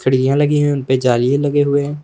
खिड़कियां लगी हुई उनपे जालियां लगे हुए हैं।